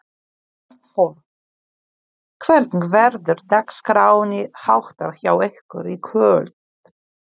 Arnþór, hvernig verður dagskránni háttar hjá ykkur í kvöld?